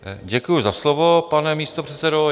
Děkuji za slovo, pane místopředsedo.